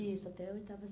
Isso, até a oitava